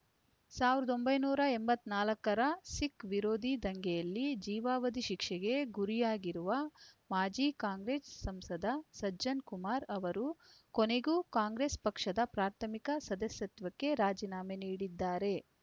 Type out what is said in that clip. ಸಾವಿರದ ಒಂಬೈನೂರ ಎಂಬತ್ತ್ ನಾಲ್ಕರ ಸಿಖ್‌ ವಿರೋಧಿ ದಂಗೆಯಲ್ಲಿ ಜೀವಾವಧಿ ಶಿಕ್ಷೆಗೆ ಗುರಿಯಾಗಿರುವ ಮಾಜಿ ಕಾಂಗ್ರೆಸ್‌ ಸಂಸದ ಸಜ್ಜನ್‌ ಕುಮಾರ್‌ ಅವರು ಕೊನೆಗೂ ಕಾಂಗ್ರೆಸ್‌ ಪಕ್ಷದ ಪ್ರಾಥಮಿಕ ಸದಸ್ಯತ್ವಕ್ಕೆ ರಾಜೀನಾಮೆ ನೀಡಿದ್ದಾರೆ